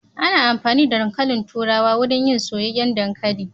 Ana amfani da dankalin turawa wurin yin soyayyen dankalin.